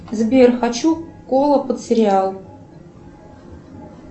сбер хочу колу под сериал